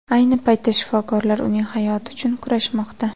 Ayni paytda shifokorlar uning hayoti uchun kurashmoqda.